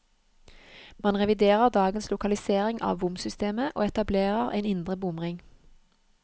Man reviderer dagens lokalisering av bomsystemet, og etablerer en indre bomring.